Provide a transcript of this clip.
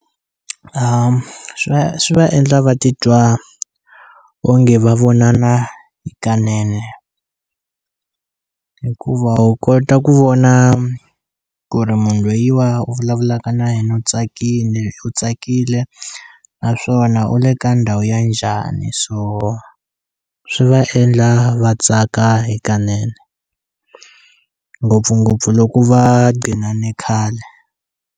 Swi va swi va endla va titwa onge va vonana hikanene hikuva u kota ku vona ku ri munhu lweyiwa u vulavulaka na yena u tsakile u tsakile naswona u le ka ndhawu ya njhani so swi va endla va tsaka hikanene ngopfungopfu loko va ghinane khale.